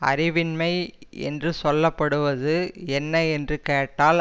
அறிவின்மை என்று சொல்ல படுவது என்ன என்று கேட்டால்